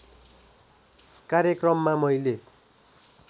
कार्यक्रममा मैले